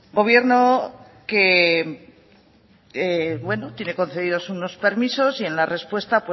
gobierno que bueno tiene concedidos unos permisos y en la respuesta